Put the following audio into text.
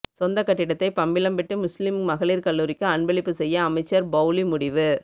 சொந்த கட்டிடத்தை பம்பலப்பிட்டி முஸ்லீம் மகளிர் கல்லூரிக்கு அன்பளிப்பு செய்ய அமைச்சர் பௌஸி முடிவு